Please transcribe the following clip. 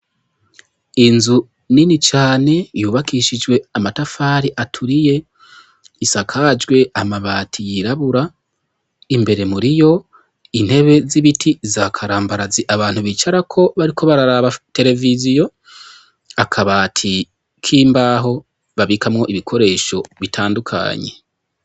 Inzu nini cane yubakishijwe amatafari aturiye, isakajwe amabati yirabura, imbere muriyo intebe z'ibiti za karambarazi abantu bicarako bariko bararaba tereviziyo, akabati k'imbaho babikamwo ibikoresho bitandukanye.